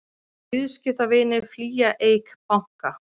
Viðskiptavinir flýja Eik banka